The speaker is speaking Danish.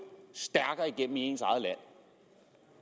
stærkere igennem i ens eget land